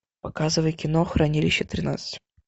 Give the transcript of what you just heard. показывай кино хранилище тринадцать